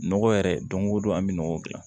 Nɔgɔ yɛrɛ don o don an bɛ nɔgɔ gilan